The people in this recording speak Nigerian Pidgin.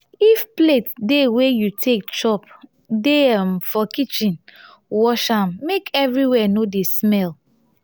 if plate dey wey you take chop dey um for kitchen wash am make everywhere no dey smell